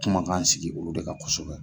Kumakan sigi olu de kan kosɛbɛ.